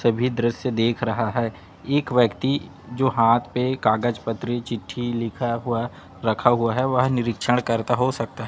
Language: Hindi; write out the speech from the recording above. सभी दृश्य देख रहा है एक व्यक्ति जो हाथ पे कागज पत्री चिट्ठी लिखा हुआ रखा हुआ है वह निरीक्षण करता हो सकता है।